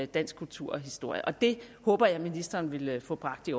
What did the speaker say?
dansk kultur og historie og det håber jeg ministeren vil få bragt i